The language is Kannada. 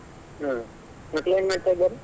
ಹಾ ಮಕ್ಕಳೇನ್ ಮಾಡ್ತಿದಾರೆ?